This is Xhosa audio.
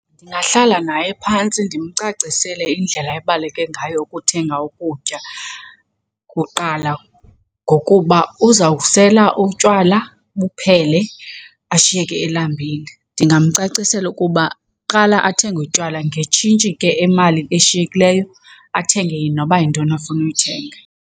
Ndingahlala naye phantsi ndimcacisele indlela ebaluleke ngayo ukuthenga ukutya kuqala ngokuba uzawusela utywala buphele, ashiyeke elambile. Ndingamcacisela ukuba kuqala athenge utywala, ngetshintshi ke, imali eshiyekileyo, athenge noba yintoni afuna uyithenga.